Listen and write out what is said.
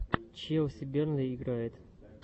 челси бернли играет